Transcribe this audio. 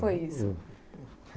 Como é que foi isso?